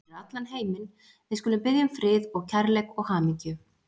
Fyrir allan heiminn, við skulum biðja um frið og kærleik og hamingju.